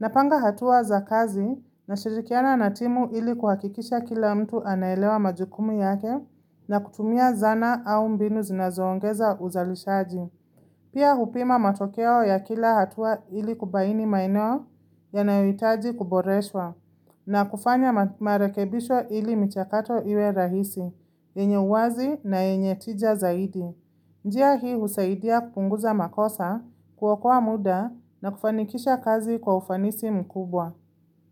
Napanga hatua za kazi nashirikiana na timu ili kuhakikisha kila mtu anaelewa majukumu yake na kutumia zana au mbinu zinazoongeza uzalishaji. Pia hupima matokeo ya kila hatua ili kubaini maeneo yanayohitaji kuboreshwa na kufanya marekebisho ili michakato iwe rahisi, yenye uwazi na yenye tija zaidi. Njia hii husaidia kupunguza makosa, kuokoa muda na kufanikisha kazi kwa ufanisi mkubwa.